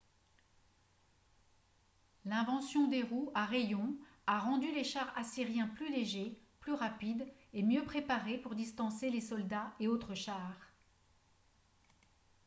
l'invention des roues à rayons a rendu les chars assyriens plus légers plus rapides et mieux préparés pour distancer les soldats et autres chars